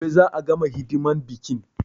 Gobe za a gama hidiman biƙin